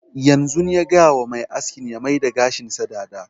Yanzun nan ya gaya wa mai askin ya maida gashin sa dada